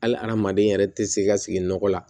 Hali hadamaden yɛrɛ tɛ se ka sigi nɔgɔ la